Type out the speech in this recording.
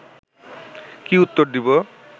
কি উত্তর দিব